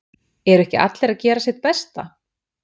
Eru ekki allir að gera sitt besta?